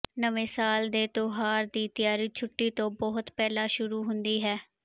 ਨਵੇਂ ਸਾਲ ਦੇ ਤਿਉਹਾਰ ਦੀ ਤਿਆਰੀ ਛੁੱਟੀ ਤੋਂ ਬਹੁਤ ਪਹਿਲਾਂ ਸ਼ੁਰੂ ਹੁੰਦੀ ਹੈ